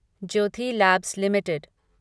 Jyoti labs limited